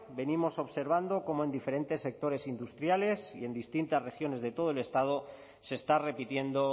venimos observando como en diferentes sectores industriales y en distintas regiones de todo el estado se está repitiendo